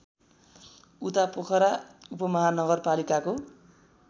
उता पोखरा उपमहानगरपालिकाको